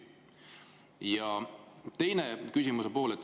Ja küsimuse teine pool.